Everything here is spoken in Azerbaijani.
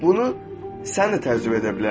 Bunu sən də təcrübə edə bilərsən.